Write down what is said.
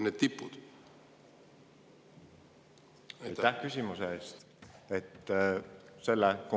Aitäh küsimuse eest!